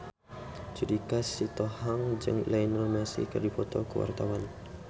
Judika Sitohang jeung Lionel Messi keur dipoto ku wartawan